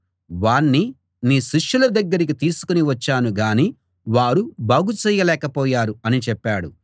వాణ్ణి నీ శిష్యుల దగ్గరికి తీసుకుని వచ్చాను గాని వారు బాగుచేయలేక పోయారు అని చెప్పాడు